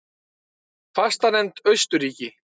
Fastanefnd Austurríki